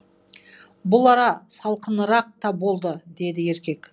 бұл ара салқынырақ та болды деді еркек